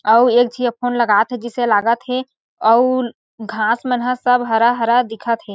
आऊ एक झी ह फ़ोन लगात हे जइसे लागत हे आऊ घास मन हा सब हरा-हरा दिखत हे।